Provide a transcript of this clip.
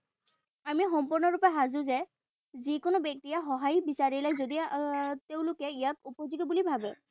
আমি সম্পূৰ্ণৰূপে সাজু যে যিকোনো ব্যক্তিয়ে সহায় বিচাৰিলে যদি তেঁওলোকে ইয়াক উপযোগী বুলি ভাৱে।